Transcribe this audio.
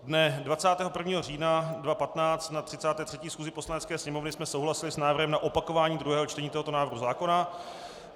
Dne 21. října 2015 na 33. schůzi Poslanecké sněmovny jsme souhlasili s návrhem na opakování druhého čtení tohoto návrhu zákona.